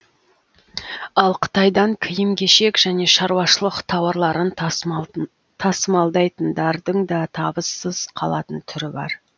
ал қытайдан киім кешек және шаруашылық тауарларын тасымалдайтындардың да табыссыз қалатын түрі бар